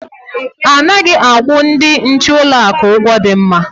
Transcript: Anaghị akwụ ndị nche ụlọakụ ụgwọ dị mma.